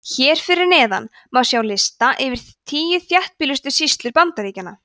hér fyrir neðan má sjá lista yfir tíu þéttbýlustu sýslur bandaríkjanna